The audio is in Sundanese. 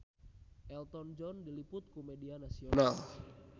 Elton John diliput ku media nasional